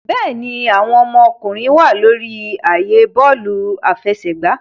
Bẹẹni, awọn ọmọkunrin wa lori ààyè bọọlu afẹsẹgba